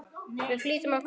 Við flýtum okkur inn.